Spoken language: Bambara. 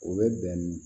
O bɛ bɛn